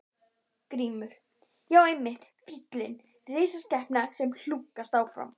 GRÍMUR: Já, einmitt fíllinn, risaskepnan sem hlunkast áfram.